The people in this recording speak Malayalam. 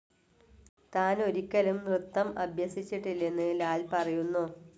താൻ ഒരിക്കലും നൃത്തം അഭ്യസിച്ചിട്ടില്ലെന്ന് ലാൽ പറയുന്നു.